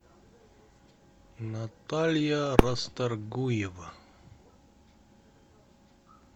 наталья расторгуева